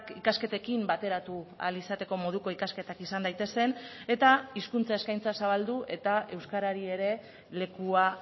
ikasketekin bateratu ahal izateko moduko ikasketak izan daitezen eta hizkuntza eskaintza zabaldu eta euskarari ere lekua